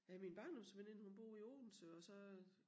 Ja min barndomsveninde hun bor i Odense og så øh